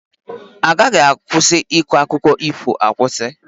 A gaghị akwụsị ịkọ akụkọ ífò akwụsị.